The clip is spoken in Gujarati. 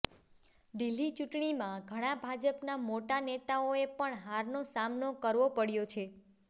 દિલ્હી ચૂંટણીમાં ઘણા ભાજપના મોટા નેતાઓએ પણ હારનો સામનો કરવો પડ્યો છે